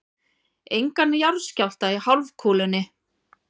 Engan jarðskjálfta í hálfkúlunni.